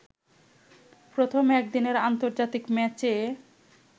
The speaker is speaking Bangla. প্রথম একদিনের আন্তর্জাতিক ম্যাচে